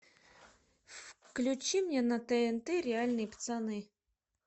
включи мне на тнт реальные пацаны